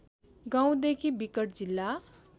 गाउँदेखि विकट जिल्ला